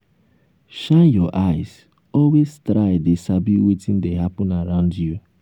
shine your eyes always try dey sabi wetin dey happen around you